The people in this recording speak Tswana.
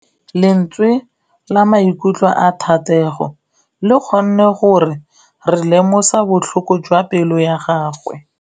Lentswe la maikutlo a Thategô le kgonne gore re lemosa botlhoko jwa pelô ya gagwe.